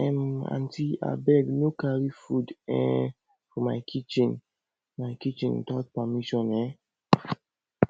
um aunty abeg no carry food um for my kitchen my kitchen without my permission um